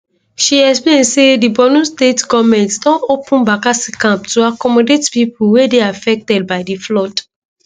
she explain say di borno state goment don open bakassi camp to accomodate pipo wey dey affected by di flood